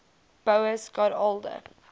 boas got older